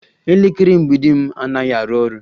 Elekere mgbidi m anaghị arụ ọrụ